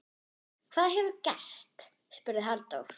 Hvað hefur gerst? spurði Halldór.